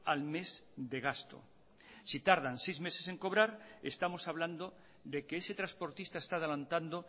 al mes de gasto si tardan seis meses en cobrar estamos hablando de que ese transportista está adelantando